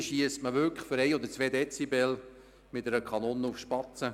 Aber hier schiesst man für 1 oder 2 Dezibel mit der Kanone auf Spatzen.